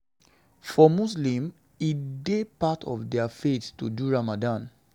For muslims, e e dey part of their faith to do ramadan